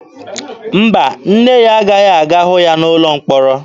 Mba, nne ya agaghị aga hụ ya n'ụlọ mkpọrọ.